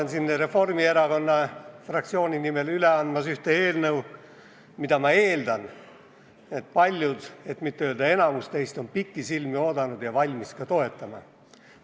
Ma annan Reformierakonna fraktsiooni nimel üle eelnõu, mida, ma eeldan, paljud, kui mitte enamik teist on pikisilmi oodanud ja valmis ka toetama.